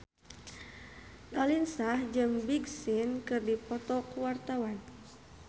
Raline Shah jeung Big Sean keur dipoto ku wartawan